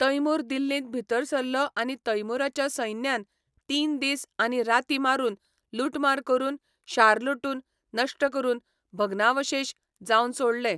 तैमूर दिल्लींत भितर सरलो आनी तैमूराच्या सैन्यान तीन दीस आनी राती मारून लुटमार करून शार लुटून, नश्ट करून, भग्नावशेश जावन सोडलें.